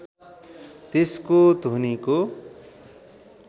त्यसको ध्वनिको